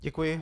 Děkuji.